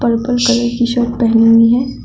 Purple colour कि shirt पहनी हुई है।